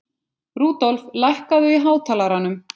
Rudolf, lækkaðu í hátalaranum.